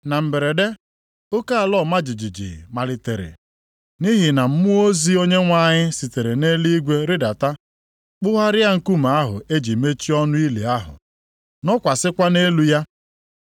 Na mberede, oke ala ọma jijiji malitere. Nʼihi na mmụọ ozi Onyenwe anyị sitere nʼeluigwe rịdata, kpụgharịa nkume ahụ e ji mechie ọnụ ili ahụ, nọkwasịkwa nʼelu ya.